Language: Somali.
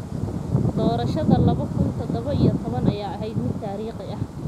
Doorashada laba kun iyo toddoba iyo toban ayaa ahayd mid taariikhi ah